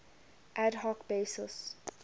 ad hoc basis